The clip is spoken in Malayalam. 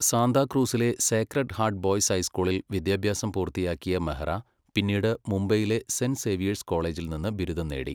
സാന്താക്രൂസിലെ സേക്രഡ് ഹാർട്ട് ബോയ്സ് ഹൈസ്കൂളിൽ സ്കൂൾ വിദ്യാഭ്യാസം പൂർത്തിയാക്കിയ മെഹ്റ പിന്നീട് മുംബൈയിലെ സെന്റ് സേവ്യേഴ്സ് കോളേജിൽ നിന്ന് ബിരുദം നേടി.